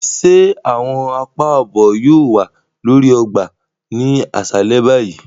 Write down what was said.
Ṣe awọn àpá ààbò yóò wà lórí ọgbà ni aṣalẹ báyìí?